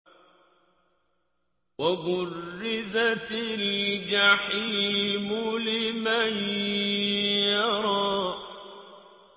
وَبُرِّزَتِ الْجَحِيمُ لِمَن يَرَىٰ